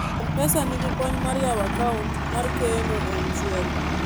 mpesa nigi kony mar yawo account mar keno e mshwari